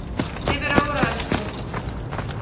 североуральску